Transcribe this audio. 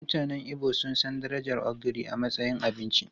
Mutanen Igbo sun san darajar ogiri a matsayin abinci.